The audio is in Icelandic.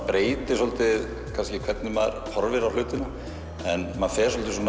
breytir svolítið hvernig maður horfir á hlutina maður fer svolítið